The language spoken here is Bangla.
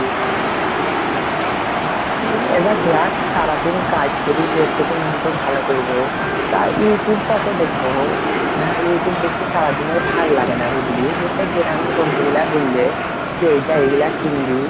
এবার দেখ সারাদিন কাজ করে যে একটুকু মন টা ভালো করব তা youtube কত দেখব ?হ্যাঁ youtube দেখে সারাদিন ভাল্লাগেনা বুঝলি তো সে বন্ধু গুলা বইলে যে এইটা এইগুলা কিনবি